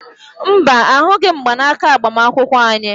Mba, ahụghị m mgbanaka agbamakwụkwọ anyị